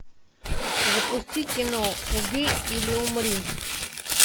запусти кино убей или умри